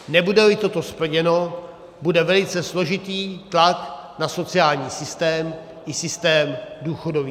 Nebude-li toto splněno, bude velice složitý tlak na sociální systém i systém důchodový.